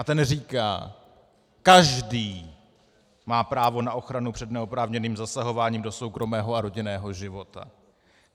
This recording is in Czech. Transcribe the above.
A ten říká: Každý má právo na ochranu před neoprávněným zasahováním do soukromého a rodinného života.